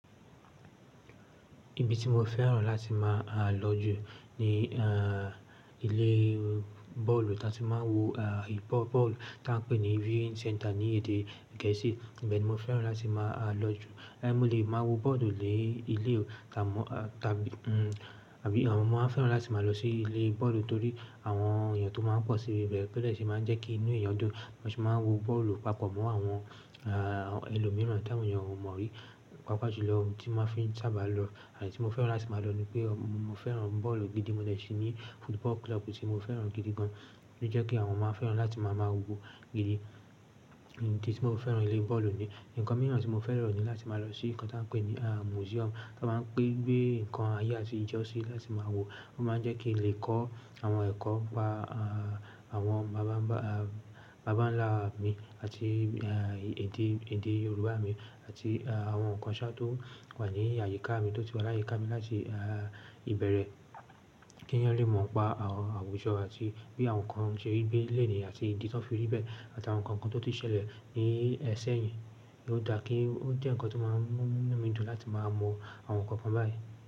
Ibi tí mo fẹ́ràn láti má lọ jù ni ilé bọ́ọ̀lù tí aá ti máa ń wo bọ́ọ̀lù tí aá pè ní viewing center ní èdè gẹ̀ẹ́sì. Ibẹ̀ ni mo fẹ́ràn láti máa lọ jù. Ẹ̀ mú lè máa wo bọ́ọ̀lù ni ilé òò ta mọ, eeh, tàbí, mm, tàbí àwọn ọmọ fẹ́ràn láti máa lọ sí ilé bọ́ọ̀lù torí àwọn èèyàn tó máa ń pọ̀ sí ibẹ̀ bo de tí ṣe máa ń jẹ́ kí inú èèyàn dùn. Wọ́n sì máa ń wo bọ́ọ̀lù papọ̀ mọ́ àwọn, aah, ẹlòmíràn tí àwọn èèyàn ò mọ̀ rí. Papọ̀ julọ ohun tí máa fi sábà lọ àti tí mo fẹ́ràn láti máa lọ ni pé mo fẹ́ràn bọ́ọ̀lù gidi mọ́ dẹ ṣì ní football club tí mo fẹ́ràn gidi gan. Ó jẹ́ kí àwọn ọmọ fẹ́ràn láti máa mọ̀ wo gidi. Idi ti tí mo fẹ́ràn ilé bọ́ọ̀lù ni. Ǹkan mìíràn tí mo fẹ́ràn ló ni láti máa lọ sí nǹkan tí wọ́n ń pè ní, aah, museum. Wọ́n máa ń gbé nǹkan ayé àtijọ́ sí láti máa wo. Wọ́n máa ń jẹ́ kí lè kọ́ àwọn ẹ̀kọ́ pa, aah, àwọn bàbá ń bà, aah, bàbá ńlá mi àti, eeh, èdè, èdè Yorùbá mi àti, aah, àwọn nǹkan ṣá tó wà ní àyíká mi tó ti wà láyé ká mi láti, aah, ìbẹ̀rẹ̀ kí èèyàn lè mọ̀ pa àwọn àwùjọ àti bí àwọn nǹkan ṣe rí gbé lenìí àti ìdí tí wọ́n fi rí bẹ́ẹ̀ àti àwọn nǹkan kan tó ti ṣẹlẹ̀ ní ẹ si eyin. Ó dáa kí ó jẹ́ nǹkan tó máa ń mú inú mi dùn láti máa mọ àwọn nǹkan kan báyìí.